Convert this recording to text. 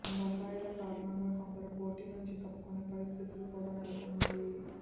బకాయిల కారణంగా కొందరు పోటీ నుంచి తప్పుకునే పరిస్థితులు కూ డా నెలకొన్నాయి